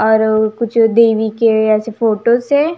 और कुछ देवी के ऐसे फोटो है.